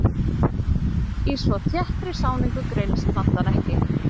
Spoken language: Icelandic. Í svo þéttri sáningu greinist plantan ekki.